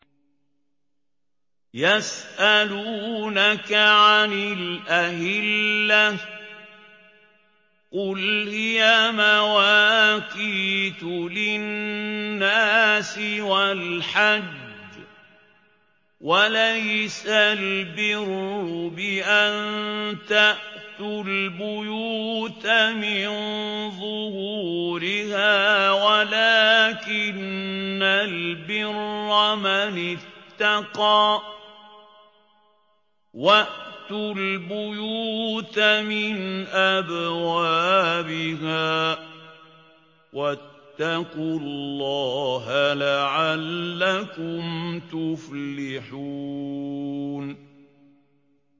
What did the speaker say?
۞ يَسْأَلُونَكَ عَنِ الْأَهِلَّةِ ۖ قُلْ هِيَ مَوَاقِيتُ لِلنَّاسِ وَالْحَجِّ ۗ وَلَيْسَ الْبِرُّ بِأَن تَأْتُوا الْبُيُوتَ مِن ظُهُورِهَا وَلَٰكِنَّ الْبِرَّ مَنِ اتَّقَىٰ ۗ وَأْتُوا الْبُيُوتَ مِنْ أَبْوَابِهَا ۚ وَاتَّقُوا اللَّهَ لَعَلَّكُمْ تُفْلِحُونَ